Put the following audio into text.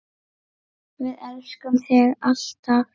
Við elskum þig, alltaf.